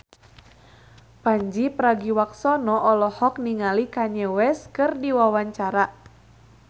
Pandji Pragiwaksono olohok ningali Kanye West keur diwawancara